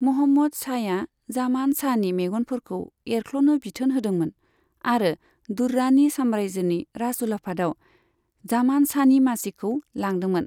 महमूद शाहया जामान शाहनि मेगनफोरखौ एरख्ल'नो बिथोन होदोंमोन, आरो दुर्रानी साम्रायजोनि राजउलाफादाव जामान शाहनि मासिखौ लादोंमोन।